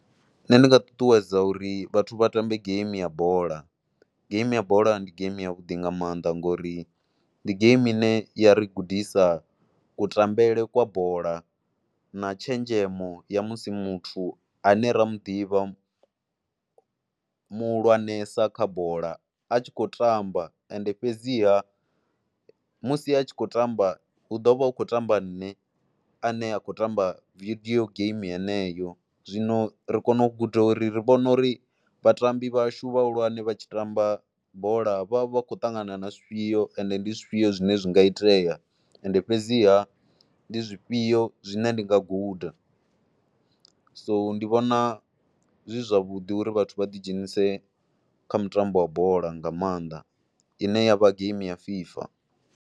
Nṋe ndi nga ṱuṱuwedza uri vhathu vha tambe game ya bola, game ya bola ndi game yavhuḓi nga maanḓa ngori ndi game ine ya ri gudisa kutambele kwa bola na tshenzhemo ya musi muthu ane ra mu ḓivha muhulwanesa kha bola a tshi khou tamba ende fhedziha musi a tshi khou tamba hu ḓo vha hu khou tamba nṋe ane nda khoy tamba video game heneyo. Zwino ri kona u guda uri ri vhona uri vhatambi vhashu vhahulwane vha tshi tamba bola vha vha khou ṱangana na zwifhio ende ndi zwifhio zwine zwi nga itea. Ende fhedziha ndi zwifhio zwine ndi nga guda, so ndi vhona zwi zwavhuḓi uri vhathu vha ḓidzhenise kha mutambo wa bola nga maanḓa ine ya vha game ya FIFA.